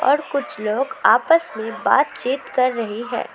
और कुछ लोग आपस में बातचीत कर रहे है।